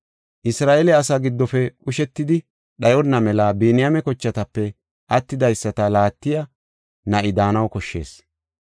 Isra7eele asaa giddofe qushetidi dhayonna mela Biniyaame kochatape attidaysata laattiya na7i daanaw koshshees.